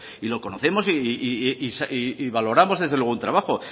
y lo conocemos y valoramos desde luego el trabajo